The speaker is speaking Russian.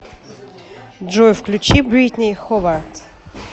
джой включи бритни ховард